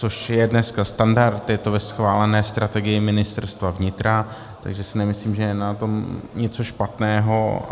Což je dneska standard, je to ve schválené strategii Ministerstva vnitra, takže si nemyslím, že je na tom něco špatného.